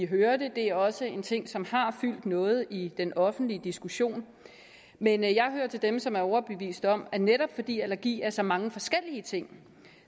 hører det det er også en ting som har fyldt noget i den offentlige diskussion men jeg hører til dem som er overbevist om at netop fordi allergi er så mange forskellige ting